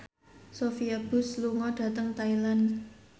Sophia Bush lunga dhateng Thailand